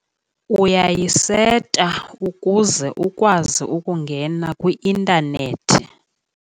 Uyayiseta ukuze ukwazi ukungena kwi-intanethi.